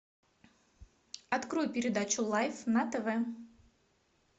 открой передачу лайф на тв